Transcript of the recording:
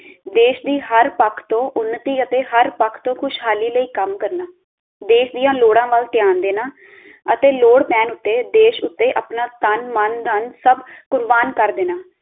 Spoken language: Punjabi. ਦੇਸ਼ ਦੀ ਹਰ ਪੱਖ ਤੋਂ ਉੱਨਤੀ ਅਤੇ ਹਰ ਪੱਖ ਤੋਂ ਖੁਸ਼ਹਾਲੀ ਲਈ ਕੰਮ ਕਰਨਾ ਦੇਸ਼ ਦੀਆਂ ਲੋੜਾਂ ਵਲ ਧਿਆਨ ਦੇਣਾ ਅਤੇ ਲੋੜ ਪੈਣ ਤੇ ਦੇਸ਼ ਉਤੇ ਆਪਣਾ ਤਨ, ਮਨ, ਧਨ ਸਬ ਕੁਰਬਾਨ ਕਰ ਦੇਣਾ